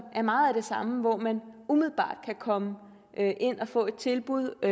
er meget af det samme hvor man umiddelbart kan komme ind og få et tilbud